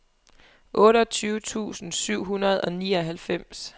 otteogtyve tusind syv hundrede og nioghalvfems